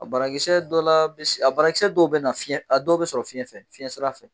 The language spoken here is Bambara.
A bara kisɛ dɔw la mis a bana kisɛ dɔw bɛ dɔw bɛ na fiyɛ a dɔw bɛ sɔrɔ fiɲɛ fɛ fiɲɛ sira fɛ.